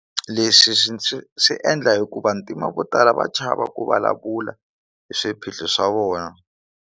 Leswi swi swi swi endla hikuva vantima vo tala va chava ku vulavula hi swiphiqo swa vona.